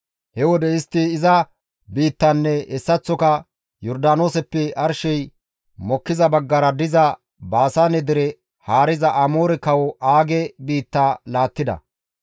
He wode istti iza biittanne hessaththoka Yordaanooseppe arshey mokkiza baggara diza Baasaane dere haariza Amoore kawo Aage biitta laattida.